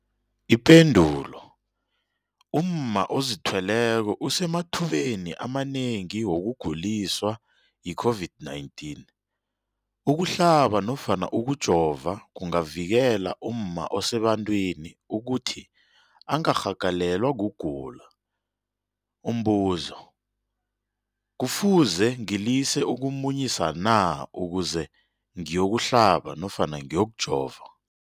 Ipendulo, umma ozithweleko usemathubeni amanengi wokuguliswa yi-COVID-19. Ukuhlaba nofana ukujova kungavikela umma osebantwini ukuthi angarhagalelwa kugula. Umbuzo, kufuze ngilise ukumunyisa na ukuze ngiyokuhlaba nofana ngiyokujova?